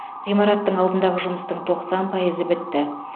ғимараттың алдындағы жұмыстың тоқсан пайызы бітті